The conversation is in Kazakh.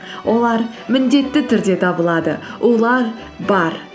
олар міндетті түрде табылады олар бар